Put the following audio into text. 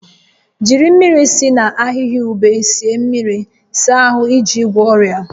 Jiri mmiri si na ahihia ube sie mmiri saa ahụ iji gwọọ ọrịa